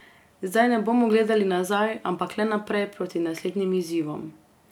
Zdaj ne bomo gledali nazaj, ampak le naprej proti naslednjim izzivom.